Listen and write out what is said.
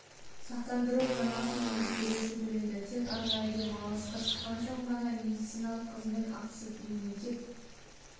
сақтандыру жарнасын жұмыс беруші төлейді тек арнайы демалысқа шыққан соң ғана медициналық қызмет ақысы мемлекет